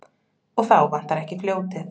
Og þá vantar ekki fljótið.